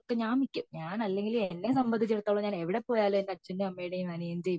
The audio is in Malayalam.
ഇപ്പോ ഞാൻ മിക്ക ഞാൻ അല്ലെങ്കിലുംഎന്നെ സംബന്ധിച്ചിടത്തോളം ഞാൻ എവിടെ പോയാലും എന്റെ അച്ഛന്റേം അമ്മേടേം അണിയന്റേം